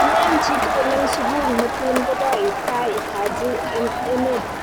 kileeni chii tugul eng sukul metun koboit tai Haji eng emet